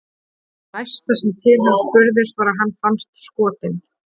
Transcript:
Það næsta sem til hans spurðist var að hann fannst skotinn.